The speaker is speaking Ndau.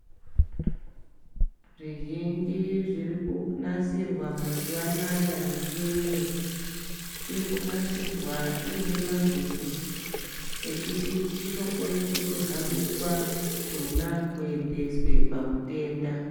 Zvizhinji zvirikunasirwa mazuva anaya michiniyo irikunasirwa iine mavhiri ekuti chinokona kutohambiswa chona kuendeswa pamutenda .